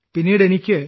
പിന്നീട് എനിക്ക്